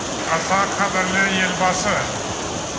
аса қадірлі елбасы